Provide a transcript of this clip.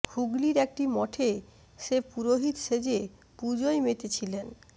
হুগলির একটি মঠে সে পুরোহিত সেজে পূজোয় মেতে ছিলেন